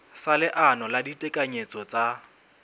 sa leano la ditekanyetso tsa